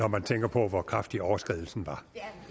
når man tænker på hvor kraftig overskridelsen var